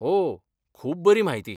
ओ, खूब बरी म्हायती .